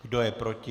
Kdo je proti?